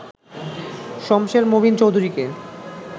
শমসের মোবিন চৌধুরীকে